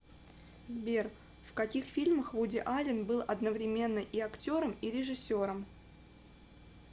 сбер в каких фильмах вуди аллен был одновременно и актером и режиссером